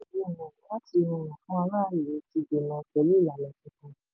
aráàlú ti dènà pẹ̀lú ìlànà tuntun.